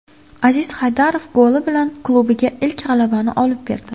Aziz Haydarov goli bilan klubiga ilk g‘alabani olib berdi.